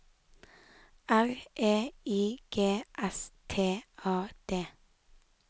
R E I G S T A D